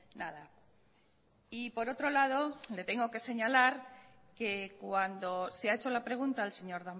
nada y por otro lado le tengo que señalar que cuando se ha hecho la pregunta al señor